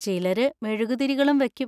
ചിലര് മെഴുകുതിരികളും വെക്കും.